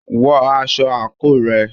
Wọ aṣọ àǹkóò rẹ.